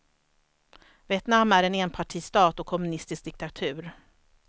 Vietnam är en enpartistat och kommunistisk diktatur.